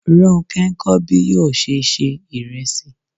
Ronke ń kọ́ bí yóò ṣe ṣe ìrẹsì.